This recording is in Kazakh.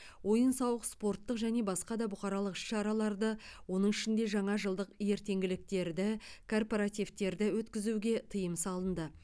ойын сауық спорттық және басқа да бұқаралық іс шараларды оның ішінде жаңажылдық ертеңгіліктерді корпоративтерді өткізуге тыйым салынды